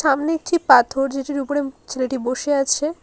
সামনে একটি পাথর যেটির উপরে ছেলেটি বসে আছে।